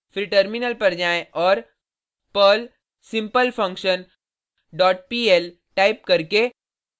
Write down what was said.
फिर टर्मिनल पर जाएँ और perl simplefunction dot pl type करके